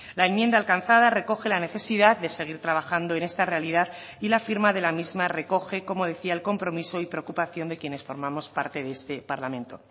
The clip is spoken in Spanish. la enmienda alcanzada recoge la necesidad de seguir trabajando en esta realidad y la firma de la misma recoge como decía el compromiso y preocupación de quienes formamos parte de este parlamento